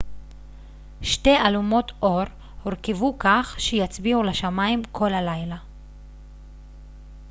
שתי אלומות אור הורכבו כך שיצביעו לשמיים כל הלילה